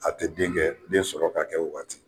A tɛ denkɛ den sɔrɔ ka kɛ o waati.